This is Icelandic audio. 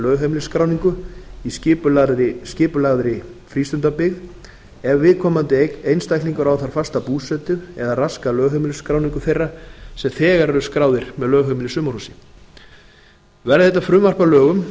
lögheimilisskráningu í skipulagðri frístundabyggð ef viðkomandi einstaklingur á þar fasta búsetu eða raskar lögheimilisskráningu þeirra sem þegar eru skráðir með lögheimili í sumarhúsi verði þetta frumvarp að lögum